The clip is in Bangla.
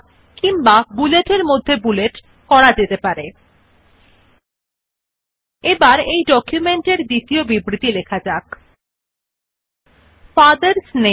হতে বিন্যাস ধরন আপনার পছন্দ উপর নির্ভরশীল সংখ্যার মধ্যে আছে বুলেট সেইসাথে সংখ্যার মধ্যে বুলেট পারেন there can be bullets within bullets as well as numbers within numbers depending upon the type of format you choose